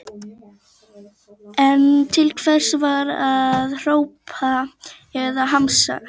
En til hvers var að hrópa eða hamast?